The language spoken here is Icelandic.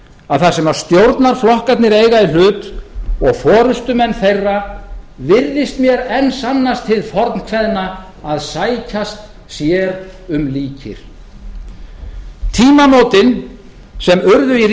að þar sem stjórnarflokkarnir eiga í hlut og forustumenn þeirra virðist mér enn sannast hið fornkveðna að sækjast sér um líkir tímamótin sem urðu í